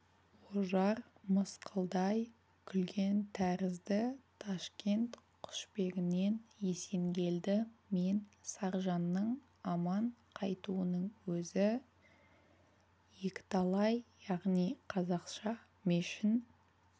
ожар мысқылдай күлген тәрізді ташкент құшбегінен есенгелді мен саржанның аман қайтуының өзі екіталай яғни қазақша мешін